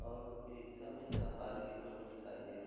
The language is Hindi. और इ-रिक्शा मे सफारी लिखा हुआ दिखाई दे रहा --